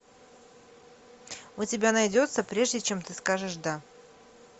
у тебя найдется прежде чем ты скажешь да